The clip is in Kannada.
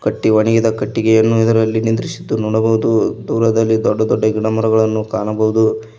ಕಟ್ಟಿ ಒಣಗಿದ ಕಟ್ಟಿಗೆಯನ್ನು ಇದರಲ್ಲಿ ನಿಂದ್ರಿಸಿದ್ದು ನೋಡಬಹುದು ದೂರದಲ್ಲಿ ದೊಡ್ಡ ದೊಡ್ಡ ಗಿಡಮರಗಳನ್ನು ಕಾಣಬಹುದು.